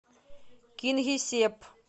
кингисепп